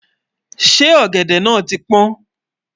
ṣé ògèdè nà tí pọn?